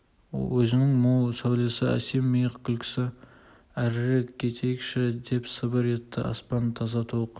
өзінің мол сәулелі әсем миық күлкісі әрірек кетейікші деп сыбыр етті аспан таза толық